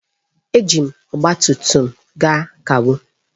Eji m ọgba tum tum gaa kawo.